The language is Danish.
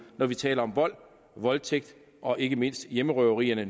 når vi taler om vold voldtægt og ikke mindst hjemmerøverierne